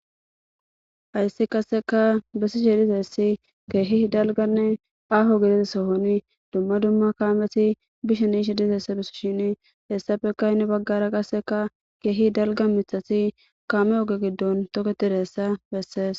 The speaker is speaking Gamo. Hayssi qasekka besishe dizayssi kehi dalgganne aho gddida sohoni dumma dumma kameti bishenne yishe dizayssa besishini hayssappe heni bagara qasekka kehi dalgga miththati kame oge giddon toketiddayssa besses.